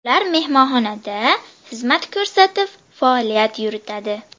Ular mehmonxonada xizmat ko‘rsatib, faoliyat yuritadi.